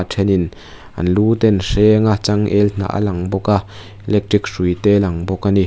a then in an lu te an hreng a changel hnah a lang bawk a electric hruai te a lang bawk a ni.